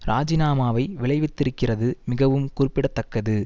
ராஜினாமாவை விளைவித்திருக்கிறது மிகவும் குறிப்பிட தக்கது